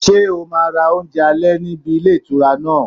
Ṣé o máa ra oúnjẹ alẹ́ níbi ilé ìtura náà?